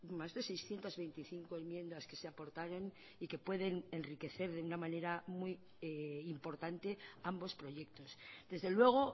más de seiscientos veinticinco enmiendas que se aportaron y que pueden enriquecer de una manera muy importante ambos proyectos desde luego